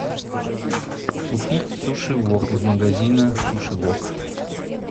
купить суши вок из магазина суши вок